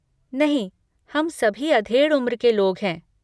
नहीं, हम सभी अधेड़ उम्र के लोग हैं।